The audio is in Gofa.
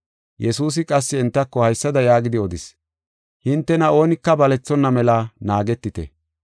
Yesuusi qassi entako haysada yaagidi odis. “Hintena oonika balethonna mela naagetite.